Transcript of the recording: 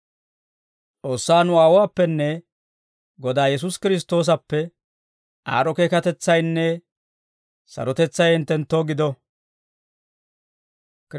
S'oossaa nu Aawuwaappenne Godaa Yesuusi Kiristtoosappe aad'd'o keekatetsaynne sarotetsay hinttenttoo gido.